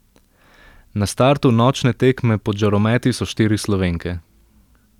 Na startu nočne tekme pod žarometi so štiri Slovenke.